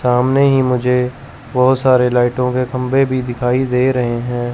सामने ही मुझे बहोत सारे लाइटों के खंभे भी दिखाई दे रहे हैं।